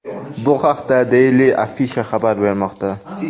Bu haqda Daily Afisha xabar bermoqda .